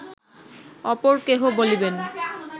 অপর কেহ বলিবেন